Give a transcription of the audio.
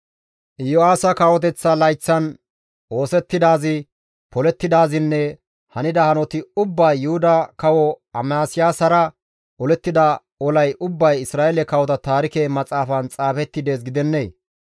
Yo7aasa kawoteththa layththatan oosettidaazi, polettidaazinne hanida hanoti ubbay Yuhuda kawo Amasiyaasara olettida olay ubbay Isra7eele kawota taarike maxaafan xaafetti dees gidennee?